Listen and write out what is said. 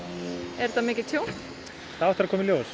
er þetta mikið tjón það á eftir að koma í ljós